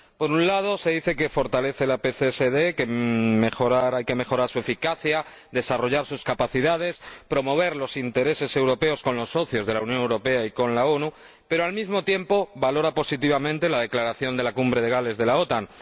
Por un lado, se dice que fortalece la PCSD, que hay que mejorar su eficacia, desarrollar sus capacidades, promover los intereses europeos con los socios de la Unión Europea y con las Naciones Unidas, pero, al mismo tiempo, valora positivamente la declaración de la Cumbre de Gales de la OTAN.